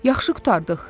Yaxşı qurtardıq.